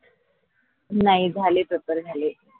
नाही झाले पेपर झाले.